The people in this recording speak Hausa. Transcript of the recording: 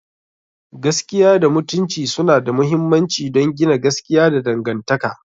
Gaskiya da Mutunci suna da mahimmanci don gina gaskiya da dangantaka.